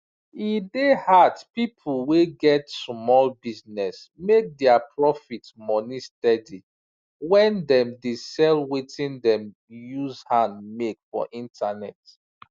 e dey hard pipu wey get sumol business make dia proft money steady when dem dey sell wetin dem use hand make for internet